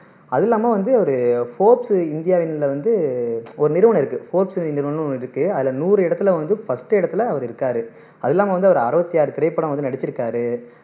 அதும் இல்லாம வந்து இவரு இந்தியாவின்ல வந்து ஒரு நிறுவனம் இருக்க நிறுவனம்னு ஒண்ணு இருக்கு அதுல நூறு இடத்துல வந்து first இடத்துல அவரு இருக்காரு அதும் இல்லாம அவரு அறுவத்து ஆறு திரைப்படம் வந்து நடிச்சுருக்காரு